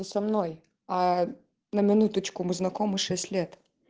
со мной аа на минуточку мы знакомы шесть лет